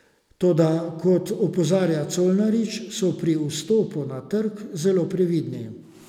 Toda, kot opozarja Colarič, so pri vstopu na ta trg zelo previdni.